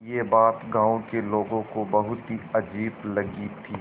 यह बात गाँव के लोगों को बहुत ही अजीब लगी थी